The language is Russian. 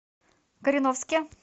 кореновске